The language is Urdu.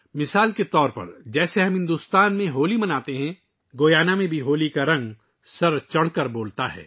مثال کے طور پر، جیسا کہ ہم بھارت میں ہولی مناتے ہیں، گیانا میں بھی ہولی کے رنگ جوش و خروش کے ساتھ زندہ ہوتے ہیں